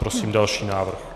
Prosím další návrh.